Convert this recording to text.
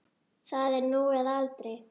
Það er nú eða aldrei.